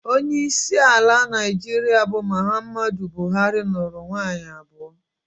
Onyeisi ala Naịjirịa bụ Muhammadu Buhari, nụrụ nwaanyị abụọ